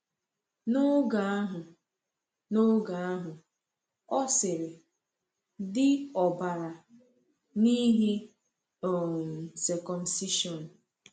N’oge ahụ, N’oge ahụ, ọ sịrị: di ọbara, n’ihi um circumcision.